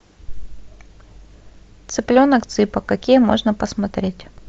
цыпленок цыпа какие можно посмотреть